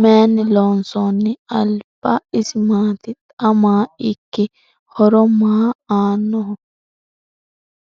Mayinni loonsoonni? Alibba isi maatti? Xa maa ikki? horo maa aanoho?